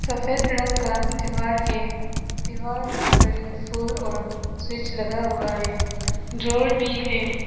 सफेद रंग का दीवार है दीवार में घड़ी फूल और स्विच लगा हुआ है जो भी है।